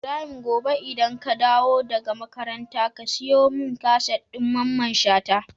Ibrahim gobe idan ka dawo daka makaranta ka siyo mun kaset din mamman shata?